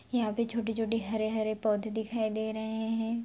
यहाँ पे छोट-छोटे हरे-हरे पौधे दिखाई दे रहे हैं।